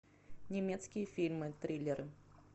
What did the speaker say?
немецкие фильмы триллеры